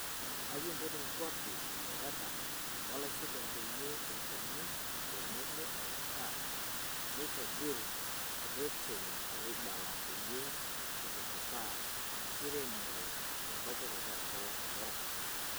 akipot nkuapi shoreta olaisotuak peyie eponu tenebo e utaa neitobiru reteni oibala peyie eitudupaa enkiremore te kopikop olkila orok.